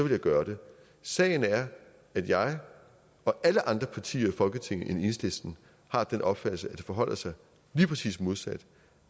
jeg gøre det sagen er at jeg og alle andre partier i folketinget end enhedslisten har den opfattelse at det forholder sig lige præcis modsat